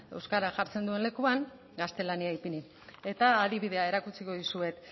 euskara jartzen duen lekuan gaztelania ipini eta adibidea erakutsiko dizuet